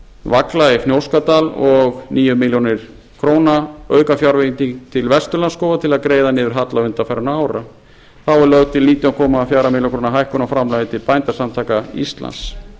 vagla í fnjóskadal og níu milljónir króna aukafjárveiting til vesturlandsskóga til að greiða niður halla undanfarinna ára þá er lögð til nítján komma fjórum milljónum króna hækkun á framlagi til bændasamtaka íslands